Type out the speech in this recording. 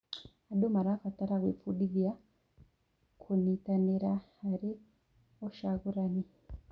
Andũ marabatara gwĩbundithia kũnitanĩra harĩ ũcagũrani.